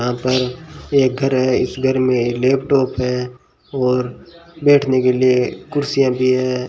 यहां पर एक घर है इस घर में लैपटॉप है और बैठने के लिए कुर्सियां भी है।